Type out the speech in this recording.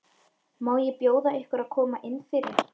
Má ekki bjóða ykkur að koma innfyrir?